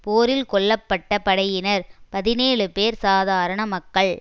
போரில் கொல்ல பட்ட படையினர் பதினேழு பேர் சாதாரண மக்கள்